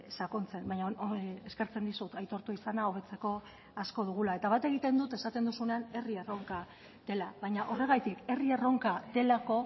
sakontzen baina eskertzen dizut aitortu izana hobetzeko asko dugula eta bat egiten dut esaten duzunean herri erronka dela baina horregatik herri erronka delako